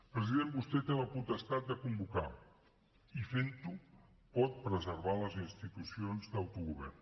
president vostè té la potestat de convocar i fent ho pot preservar les institucions d’autogovern